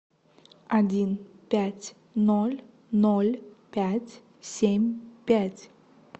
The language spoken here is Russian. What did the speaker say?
один пять ноль ноль пять семь пять